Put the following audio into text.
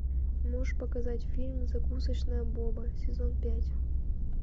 можешь показать фильм закусочная боба сезон пять